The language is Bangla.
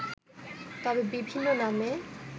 তবে বিভিন্ন নামে